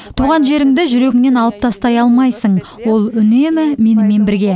туған жеріңді жүрегіңнен алып тастай алмайсың ол үнемі менімен бірге